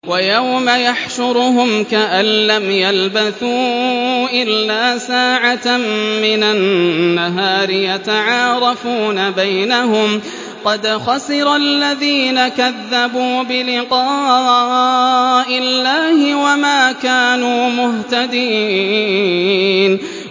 وَيَوْمَ يَحْشُرُهُمْ كَأَن لَّمْ يَلْبَثُوا إِلَّا سَاعَةً مِّنَ النَّهَارِ يَتَعَارَفُونَ بَيْنَهُمْ ۚ قَدْ خَسِرَ الَّذِينَ كَذَّبُوا بِلِقَاءِ اللَّهِ وَمَا كَانُوا مُهْتَدِينَ